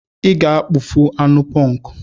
Ị ga-afụ anụ ponku!